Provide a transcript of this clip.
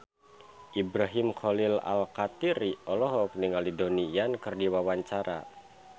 Ibrahim Khalil Alkatiri olohok ningali Donnie Yan keur diwawancara